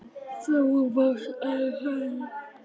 Þú veist að hann.